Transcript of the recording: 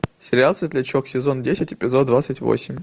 сериал светлячок сезон десять эпизод двадцать восемь